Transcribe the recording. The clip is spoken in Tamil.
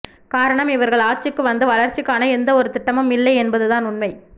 காரணம் இவர்கள் ஆட்சிக்கு வந்து வளர்ச்சிக்கான எந்த ஒரு திட்டமும் இல்லை என்பதுதான் உண்மை